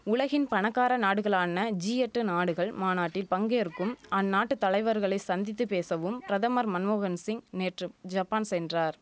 உலகின் பணக்கார நாடுகளான ஜி எட்டு நாடுகள் மாநாட்டில் பங்கேற்கும் அந்நாட்டு தலைவர்களை சந்தித்து பேசவும் பிரதமர் மன்மோகன்சிங் நேற்று ஜப்பான் சென்றார்